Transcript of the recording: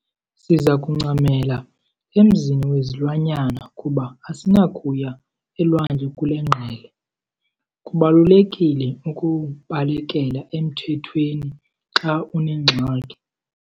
Siza kuncamela emzini wezilwanyana kuba asinakuya elwandle kule ngqele. Kubalulekile ukubalekela emthethweni xa unengxaki.